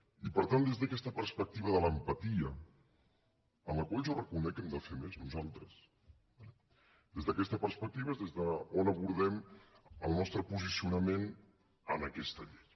i per tant des d’aquesta perspectiva de l’empatia en la qual jo reconec que hem de fer més nosaltres des d’aquesta perspectiva és des d’on abordem el nostre posicionament en aquesta llei